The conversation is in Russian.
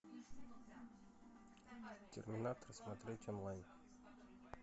терминатор смотреть онлайн